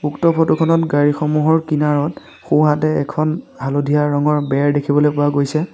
উক্ত ফটো খনত গাড়ী সমূহৰ কিনাৰত সোঁহাতে এখন হালধীয়া ৰঙৰ বেৰ দেখিবলৈ পোৱা গৈছে।